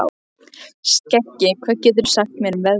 Skeggi, hvað geturðu sagt mér um veðrið?